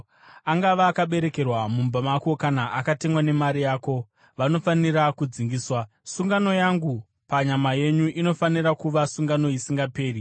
Angava akaberekerwa mumba mako kana akatengwa nemari yako, vanofanira kudzingiswa. Sungano yangu panyama yenyu inofanira kuva sungano isingaperi.